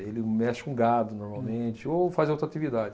Ele mexe com gado, normalmente, ou faz outra atividade.